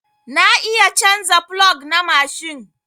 Na iya canza plog na mashin.